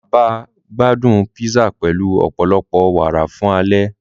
Bàbá gbádún písà pẹlu ọpọlọpọ wàárà fun ale.